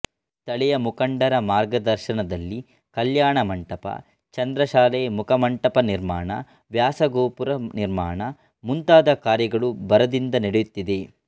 ಸ್ಥಳೀಯ ಮುಖಂಡರ ಮಾರ್ಗದರ್ಶನದಲ್ಲಿ ಕಲ್ಯಾಣಮಂಟಪ ಚಂದ್ರಶಾಲೆ ಮುಖಮಂಟಪ ನಿರ್ಮಾಣ ವ್ಯಾಸಗೋಪುರ ನಿರ್ಮಾಣ ಮುಂತಾದ ಕಾರ್ಯಗಳು ಭರದಿಂದ ನಡೆಯುತ್ತಿದೆ